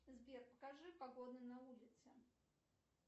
сбер покажи погоду на улице